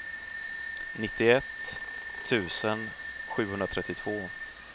nittioett tusen sjuhundratrettiotvå